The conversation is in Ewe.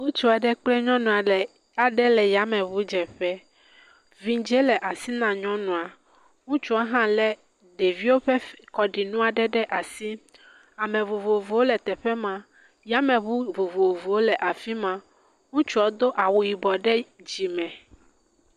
Ŋutsu aɖe kple nyɔnu aɖe le yameɔudzeƒe. Vidzi le asi na nyɔnua. Ŋutsua hã le ɖeviwo ƒe kɔɖinu aɖe ɖe asi. Ame vovovowo le teƒe ma. yYmeŋu vovovowo le afi ma. Ŋutsua do awu yibɔ ɖe dzime.